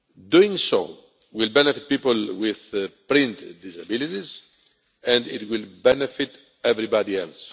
Doing so will benefit people with brain disabilities, and it will benefit everybody else.